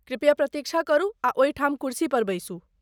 कृपया प्रतीक्षा करू आ ओहिठाम कुर्सी पर बैसू।